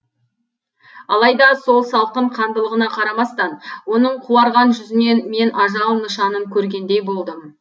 алайда сол салқын қандылығына қарамастан оның қуарған жүзінен мен ажал нышанын көргендей болдым